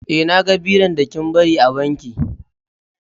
Eh, na gan biron da kin bari a banki.